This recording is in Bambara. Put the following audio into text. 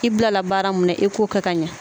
K'i bila la baara min na i k'o kɛ ka ɲɛ.